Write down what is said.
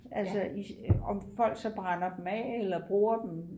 altså i om folk så brænder dem af eller bruger dem